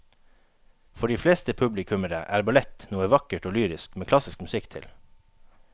For de fleste publikummere er ballett noe vakkert og lyrisk med klassisk musikk til.